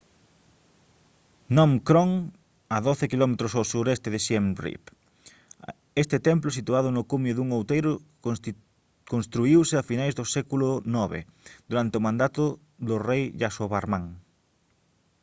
phnom krom a 12 km ao suroeste de siem reap este templo situado no cumio dun outeiro construíuse a finais do século ix durante o mandado do rei yasovarman